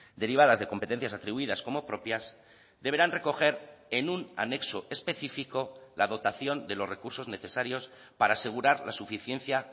derivadas de competencias atribuidas como propias deberán recoger en un anexo específico la dotación de los recursos necesarios para asegurar la suficiencia